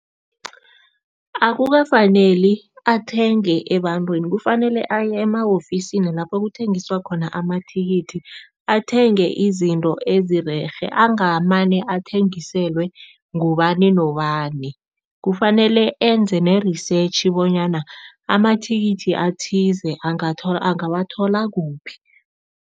Akukafaneli athenge ebantwini, kufanele aye ema-ofisini lapho kuthengiswa khona amathikithi, athenge izinto ezirerhe. Angamane athengiselwe ngubani nobani, kufanele enze ne-research bonyana amathikithi athize angawathola kuphi.